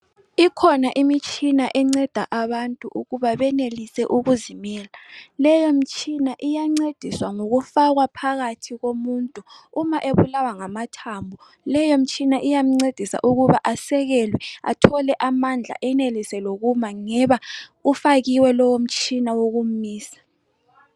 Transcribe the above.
Ikhona imitshina enceda abantu ukuba benelise ukuzimela, leyo mtshina iyancediswa ngokufakwa phakathi komuntu uma ebulawa ngamathambo, leyo mtshina iyamncedisa ukuba asekelwe, athole lamandla, enelise lokuma, ngeba ufakiwe lowo mtshina wokum'misa.